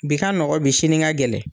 Bi ka nɔgɔ bi sini ka gɛlɛn.